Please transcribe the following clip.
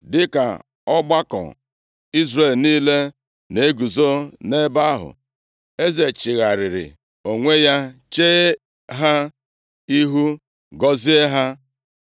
Dịka ọgbakọ Izrel niile na-eguzo nʼebe ahụ, eze chigharịrị onwe ya chee ha ihu, gọzie ha.